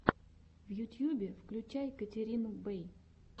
в ютьюбе включай катерину бэй